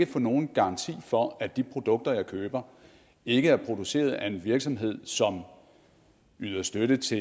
få nogen garanti for at de produkter jeg køber ikke er produceret af en virksomhed som yder støtte til